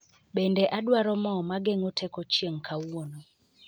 Bende adwaro mo mageng'o teko chieng' kawuono